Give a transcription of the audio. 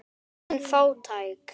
Engin fátækt.